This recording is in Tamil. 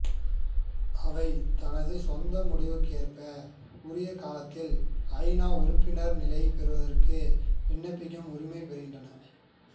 அவை தமது சொந்த முடிவுக்கு ஏற்ப உரிய காலத்தில் ஐ நா உறுப்பினர் நிலை பெறுவதற்கு விண்ணப்பிக்கும் உரிமை பெறுகின்றன